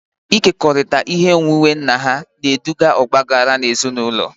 Ịkekọrịta ihe onwunwe nna ha na-eduga n'ọgba aghara ezinụlọ